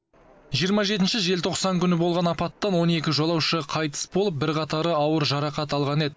жиырма жетінші желтоқсан күні болған апаттан он екі жолаушы қайтыс болып бірқатары ауыр жарақат алған еді